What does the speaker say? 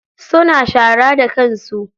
Suna shara da kansu.